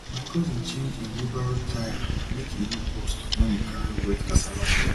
my cousin change him wheelbarrow tyre make e no burst when e carry wet cassava stem